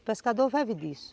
O pescador vive disso.